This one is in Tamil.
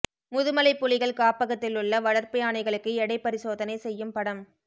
முதுமலை புலிகள் காப்பகத்திலுள்ள வளா்ப்பு யானைகளுக்கு எடை பரிசோதனை செய்யும் படம்